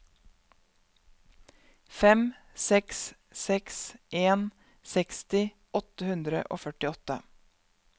fem seks seks en seksti åtte hundre og førtiåtte